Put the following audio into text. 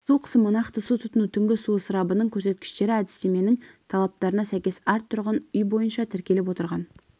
су қысымы нақты су тұтыну түнгі су ысырабының көрсеткіштері әдістеменің талаптарына сәйкес әр тұрғын үй бойынша тіркеліп отырған